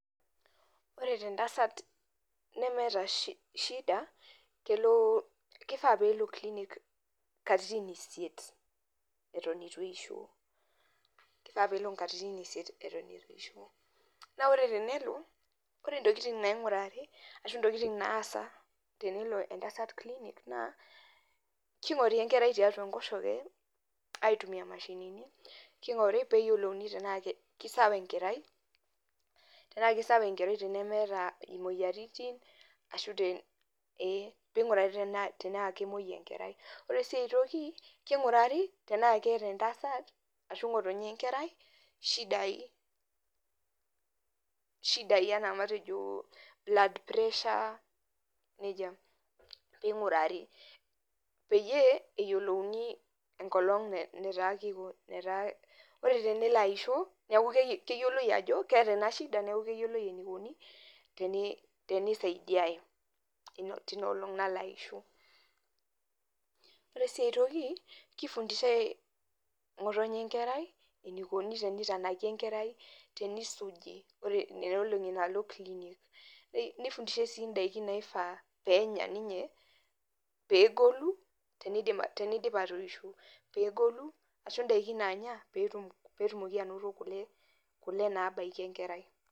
ore tee ntasat nemeeta [cs[shida kifaa pee elo klinik katitin isiet eton eitu eisho keifaa peelo katitin isit eton euti eisho naa tenelo ore intokiting` naingurari ashuu intokiting` naasa tenelo entasat klinik naa keing`ori enkerai tiatu enkosoke aitumia imashinini keing`ori pee eyiolouni tenaa keisawa enkerai tenemeeta imoyiaritin ashuu te neneing`urari tenaa kemoi enkerai oree sii eitoki keing`urari tenaa keeta entasat ashuu ng`otonye ekerai ishidai enaa matejo blood pressure nejia peing`urari peyie eeyiolouni enkolong` netaa, oree tenelo aisho neeku keyioloi ajo oree ena shida neeku keyioloi eneikuni teneisaidiai teina olong` nalo aisho oree sii aitoki keifundishai ng`otonye enkerai eneikuni teneitanaki enkerai teneisuji nena olong`i naaloo kilinik neifundishai sii inndaikin naifaa peenya ninye peegolu teneidip atoisho tenegolu ashuu indaikin naanya peetumoki anoto kule naabaiki enkerai